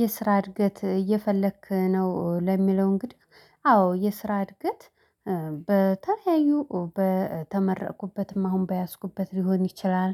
የስራ እድገት እየፈለክ ነው ለሚለው እንግዲህ አዎ የስራ እድገት በተለያዩ በተመረኩበትም አሁን በያዝኩበት ሊሆን ይችላል።